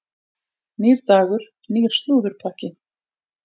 Nýr dagur, nýr slúðurpakki.